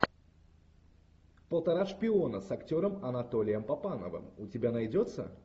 полтора шпиона с актером анатолием папановым у тебя найдется